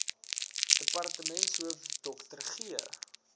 departementshoof dr g